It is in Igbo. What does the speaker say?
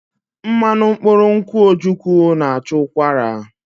Mmanụ mkpụrụ nkwụ́ ojukwu na-achụ ụkwara.